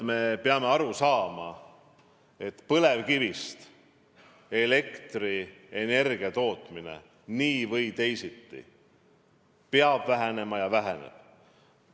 Me peame aru saama, et põlevkivist elektrienergia tootmine nii või teisiti peab vähenema ja väheneb.